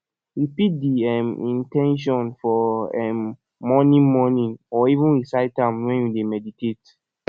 repeat di um in ten tion for um morning morning or even recite am when you dey meditate